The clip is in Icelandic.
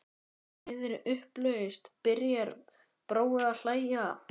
Í miðri upplausn byrjar Brói að hlæja.